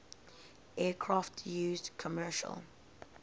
aircraft used commercial